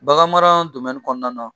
Baganmara kɔnɔna na